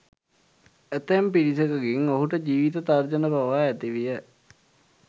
ඇතැම් පිරිසකගෙන් ඔහුට ජීවිත තර්ජන පවා ඇති විය